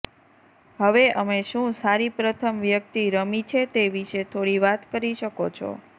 હવે અમે શું સારી પ્રથમ વ્યક્તિ રમી છે તે વિશે થોડી વાત કરી શકો છો